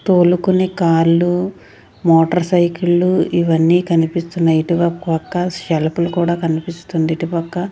తోలుకునే కార్లు మోటార్సైకిల్ ఇవన్నీ కనిపిస్తున్నాయి ఇటువై పక్క షెల్ఫ్ లు కూడా కనిపిస్తుంది ఇటుపక్క.